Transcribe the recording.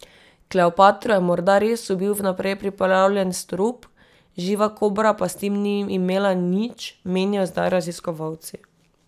Kleopatro je morda res ubil vnaprej pripravljen strup, živa kobra pa s tem ni imela nič, menijo zdaj raziskovalci.